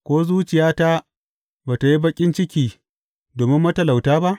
Ko zuciyata ba tă yi baƙin ciki domin matalauta ba?